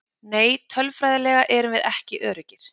Nei tölfræðilega erum við ekki öruggir.